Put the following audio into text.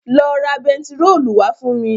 Lọ ra bẹntiróòlù wá fún mi.